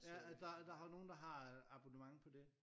Ja øh der er der har nogen der har abonnement på det